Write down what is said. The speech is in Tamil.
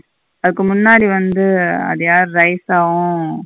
அதுக்கு முன்னாடி வந்து அது யாரு ரைத்தாவு.